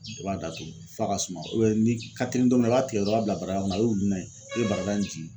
I b'a datugu f'a ka suma ni ka telimina dɔ i b'a tigɛ dɔrɔn i b'a bila barada kɔnɔ i be barada in jigi.